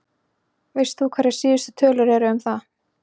Veist þú hverjar síðustu tölur eru um það?